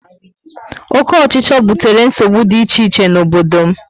Oke ochicho butere nsogbu dị iche iche na obodo m